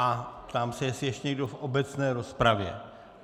A ptám se, jestli ještě někdo v obecné rozpravě.